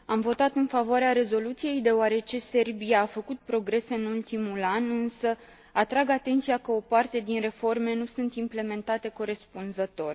Am votat în favoarea rezoluției, deoarece Serbia a făcut progrese în ultimul an, însă atrag atenția că o parte din reforme nu sunt implementate corespunzător.